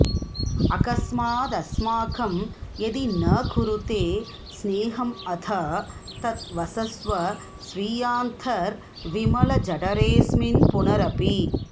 अकस्मादस्माकं यदि न कुरुते स्नेहमथ तत् वसस्व स्वीयान्तर्विमलजठरेऽस्मिन्पुनरपि